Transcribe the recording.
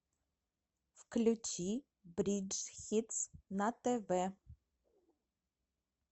включи бридж хитс на тв